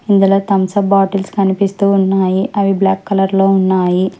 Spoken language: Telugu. ఇందులో తంసప్ బాటిల్స్ కనిపిస్తూ ఉన్నాయి అవి బ్లాక్ కలర్ లో ఉన్నాయి.